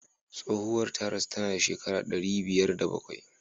Tsohuwar ta rasu tana da shekara ɗari biyar da bakwai.